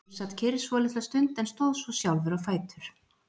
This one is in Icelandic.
Finnur sat kyrr svolitla stund en stóð svo sjálfur á fætur.